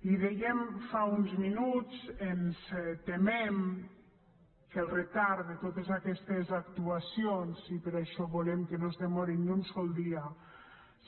li ho dèiem fa uns minuts ens temem que el retard de totes aquestes actuacions i per això volem que no es demorin ni un sol dia